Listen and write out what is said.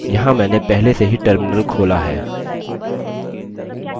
यहाँ मैंने पहले से ही terminal खोला है